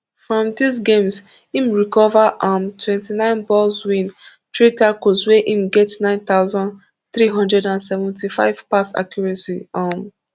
from dis games im recover um twenty-nine balls win three tackles wia im get nine thousand, three hundred and seventy-five pass accuracy um